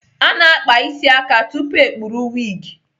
A na-akpa isi aka tupu ekpuru wigi.